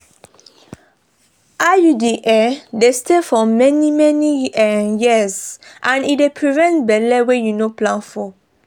iud um dey stay for many-many um years and e dey prevent belle wey you no plan for.